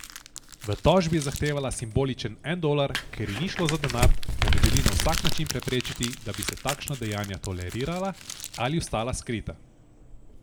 V tožbi je zahtevala simboličen en dolar, ker ji ni šlo za denar, temveč želi na vsak način preprečiti, da bi se takšna dejanja tolerirala ali ostala skrita.